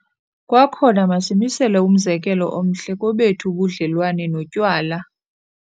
Kwakhona, masimisele umzekelo omhle kobethu ubudlelwane notywala.